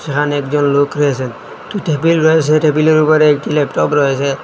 এখানে একজন লোক রয়েছেন টেবিল রয়েছে টেবিলের উপর একটি ল্যাপটপ রয়েছে।